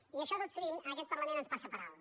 i això tot sovint en aquest parlament ens passa per alt